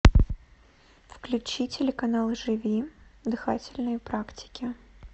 включи телеканал живи дыхательные практики